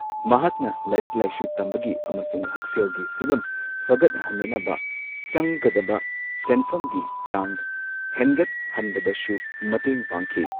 ꯃꯍꯥꯛꯅ ꯂꯥꯏꯔꯤꯛ ꯂꯥꯏꯁꯨ ꯇꯝꯕꯒꯤ ꯑꯃꯁꯨꯡ ꯍꯛ ꯁꯦꯜꯒꯤ ꯐꯤꯚꯝ ꯐꯒꯠꯍꯟꯅꯅꯕ ꯆꯪꯒꯗꯕ ꯁꯦꯟꯐꯝꯒꯤ ꯆꯥꯡ ꯍꯦꯟꯒꯠꯍꯟꯕꯗꯁꯨ ꯃꯇꯦꯡ ꯄꯥꯡꯈꯤ꯫